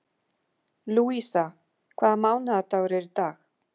Lúísa, hvaða mánaðardagur er í dag?